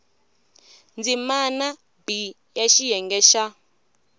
ndzimana b ya xiyenge xa